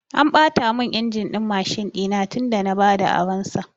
An ɓata mun injin din Mashin ɗina tun da na bada aron sa